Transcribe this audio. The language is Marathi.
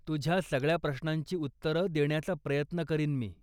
तुझ्या सगळ्या प्रश्नांची उत्तरं देण्याचा प्रयत्न करीन मी.